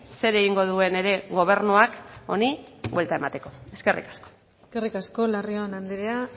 zer egingo duen ere gobernuak honi buelta emateko eskerrik asko eskerrik asko larrion andrea